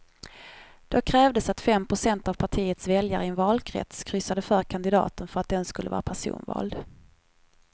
Då krävdes att fem procent av partiets väljare i en valkrets kryssade för kandidaten för att den skulle vara personvald.